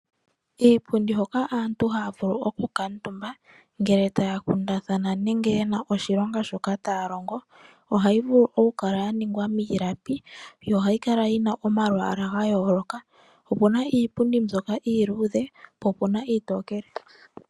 Iipundi hoka aantu haavulu oku kantumba, ngele taa kundathana nenge yena oshilonga shoka taalongo ohayi vulu oku kala ya ningwa miilapi yo ohayi kala yina omalwaala ga yooloka. Opuna iipundi mbyoka iiludhe po puna iitokele.